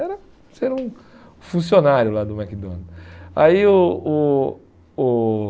Era ser um funcionário lá do McDonald's. Aí o o o